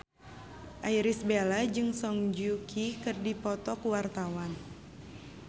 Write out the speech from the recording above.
Irish Bella jeung Song Joong Ki keur dipoto ku wartawan